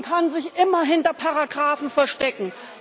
Man kann sich immer hinter Paragrafen verstecken.